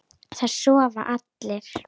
Það sofa allir.